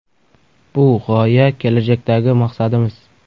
Bu – g‘oya, kelajakdagi maqsadimiz.